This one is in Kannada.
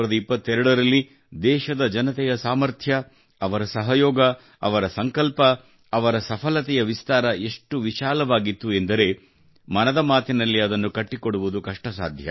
2022 ರಲ್ಲಿ ದೇಶದ ಜನತೆಯ ಸಾಮರ್ಥ್ಯ ಅವರ ಸಹಯೋಗ ಅವರ ಸಂಕಲ್ಪ ಅವರ ಸಫಲತೆಯ ವಿಸ್ತಾರ ಎಷ್ಟು ವಿಶಾಲವಾಗಿತ್ತು ಎಂದರೆ ಮನದ ಮಾತಿನಲ್ಲಿ ಅದನ್ನು ಒಗ್ಗೂಡಿಸುವುದು ಕಷ್ಟಸಾಧ್ಯ